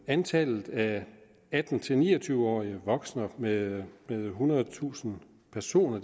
antallet af atten til ni og tyve årige vokser med ethundredetusind personer